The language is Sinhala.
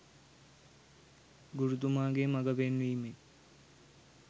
ගුරුතුමාගේ මග පෙන්වීමෙන්